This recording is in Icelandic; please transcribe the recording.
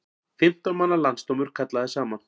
Fimmtán manna landsdómur kallaður saman